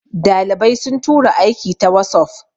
dalibai sun tura aiki ta wasof